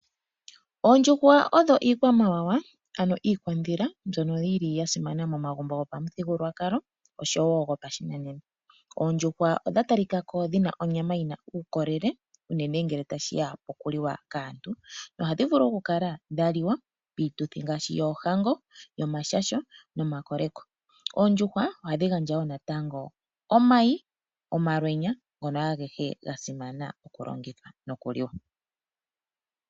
Oondjushwa odho iikwamawawa ano iikwadhila mbyono yi li ya simana momagumbo gopamuthigulwakalo oshowo gopashinanena. Oondjushwa odha talika ko dhi na onyama yi na uukolele unene ngele ta shiya okuliwa kaantu. Ohadhi vulu okukala dha liwa piituthi ngaashi oohango, omashasho nomakoleko. Oondjushwa ohadhi gandja wo natango omayi, omalwenya ngono agehe ga simana okulongitha nokuliwa.